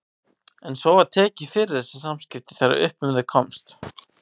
En svo var tekið fyrir þessi samskipti þegar upp um þau komst.